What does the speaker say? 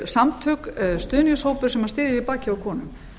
samtök stuðningshópur sem styðji við bakið á konum